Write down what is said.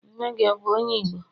nne gi, ọ bu onye igbo?